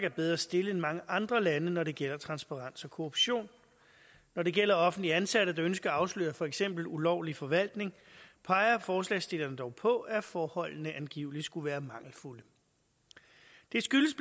er bedre stillet end mange andre lande når det gælder transparens og korruption når det gælder offentligt ansatte der ønsker at afsløre for eksempel ulovlig forvaltning peger forslagsstillerne dog på at forholdene angiveligt skulle være mangelfulde det skyldes